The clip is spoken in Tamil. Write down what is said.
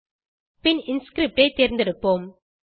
பின் இன்ஸ்கிரிப்ட் ஐ தேர்ந்தெடுப்போம்